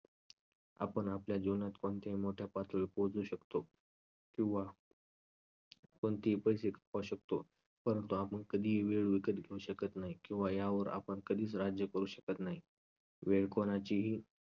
आपण आपल्या जीवनात कोणत्याही मोठ्या पातळीवर पोहोचू शकतो किंवा कोणतेही शकतो परंतु आपण वेळ कधीही विकत घेऊ शकत नाही किंवा यावर आपण कधीच राज्य करू शकत नाही. वेळ कोणाचीही